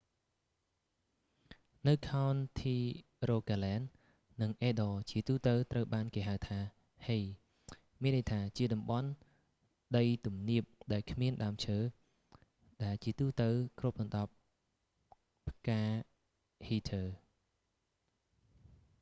នៅខោនធីរូហ្គាឡែន និងអេឌ័រ ជាទូទៅត្រូវបានគេហៅថា hei មានន័យថាជាតំបន់ដីទំនាបដែលគ្មានដើមឈើ ដែលជាទូទៅគ្របដណ្តប់ផ្កាហីធើ heather